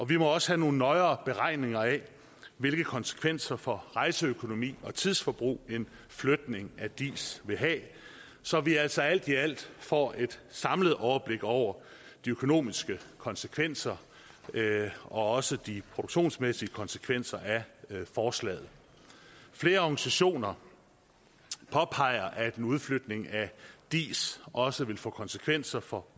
vi må også have nogle nøjere beregninger af hvilke konsekvenser for rejseøkonomi og tidsforbrug en flytning af diis vil have så vi altså alt i alt får et samlet overblik over de økonomiske konsekvenser og også de produktionsmæssige konsekvenser af forslaget flere organisationer påpeger at en udflytning af diis også vil få konsekvenser for